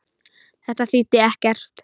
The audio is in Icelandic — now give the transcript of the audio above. Þetta þýddi ekkert.